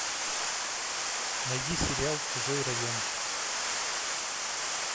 найди сериал чужой район